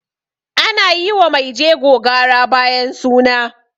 ana yi wa maijego gara bayan suna